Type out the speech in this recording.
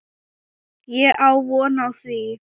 Ég á von á því.